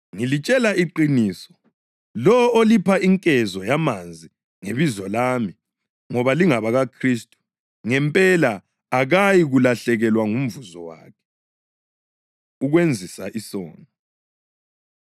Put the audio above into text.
Ngilitshela iqiniso, lowo olipha inkezo yamanzi ngebizo lami ngoba lingabakaKhristu ngempela akayikulahlekelwa ngumvuzo wakhe.” Ukwenzisa Isono